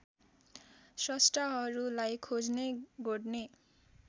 स्रष्टाहरूलाई खोज्ने गोड्ने